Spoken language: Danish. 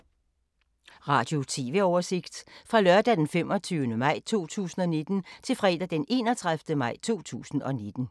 Radio/TV oversigt fra lørdag d. 25. maj 2019 til fredag d. 31. maj 2019